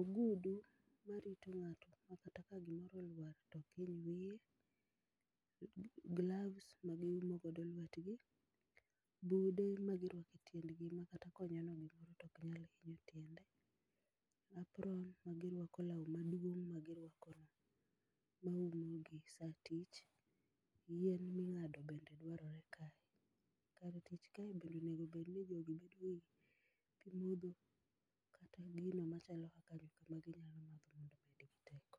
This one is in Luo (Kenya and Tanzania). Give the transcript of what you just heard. ogudu marito ng'ato makata ka gimoro olwar to ok hiny wiye, gloves magiumo godo lwetgi, bude magirwako e tiendgi makata konyono gimoro to ok nyal hinyo tiende, apron magirwako, lao maduong magirwako maumo gi saa tich, yien mingado bende dwaore kae. Kar tich kae bend eonego bedni jogi yudo pii modho kata gino machalo kaka nyuka maginyalo madho mondo omigi teko